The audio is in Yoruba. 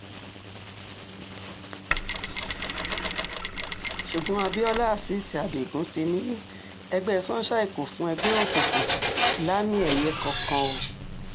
ṣùgbọ́n abiola azeez adigun ti ní ẹgbẹ́ sunshine kò fún ẹgbẹ́ òkùnkùn lámì-ẹ̀yẹ kankan o